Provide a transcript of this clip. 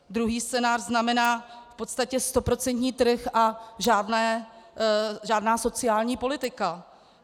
Druhý scénář znamená v podstatě stoprocentní trh a žádná sociální politika.